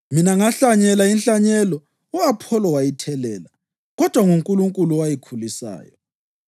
Mina ngahlanyela inhlanyelo, u-Apholo wayithelela, kodwa nguNkulunkulu owayikhulisayo.